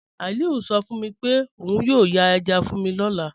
Aliu sọ fun mi pe ọun yóò yàn èjá fun mi lọ́lá.